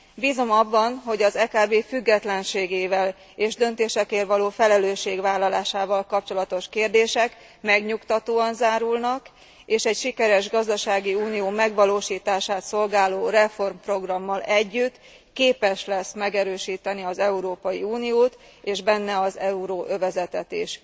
Bízom abban, hogy az EKB függetlenségével és döntésekért való felelősségvállalásával kapcsolatos kérdések megnyugtatóan zárulnak, és egy sikeres gazdasági unió megvalósítását szolgáló reformprogrammal együtt képes lesz megerősíteni az Európa Uniót és benne az euróövezetet is.